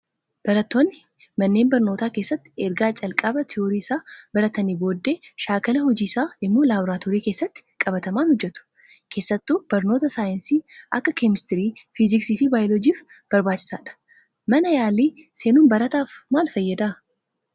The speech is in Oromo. Barattoonni manneen barnootaa keessatti erga calqaba tiyoorii isaa baratanii booddee shaakala hojii isaa immoo laaboraatoorii keessatti qabatamaan hojjatu. Keessattuu barnoota saayinsii akka keemistirii, fiiziksii fi baayoloojiif barbaachisaadha. Mana yaalii seenuun barataaf maal fayyada?